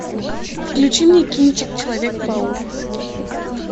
включи мне кинчик человек паук